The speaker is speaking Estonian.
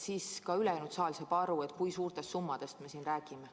Siis saab ka ülejäänud saal aru, kui suurtest summadest me siin räägime.